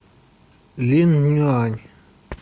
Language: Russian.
линъюань